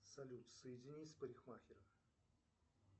салют соедини с парикмахером